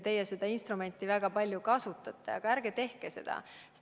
Teie seda instrumenti väga palju kasutate, aga ärge tehke seda!